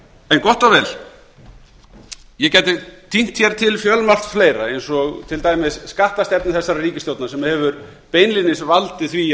en gott og vel ég gæti tínt hér til fjölmargt fleira eins og til dæmis skattstefnu þessarar ríkisstjórnar sem hefur beinlínis valdið því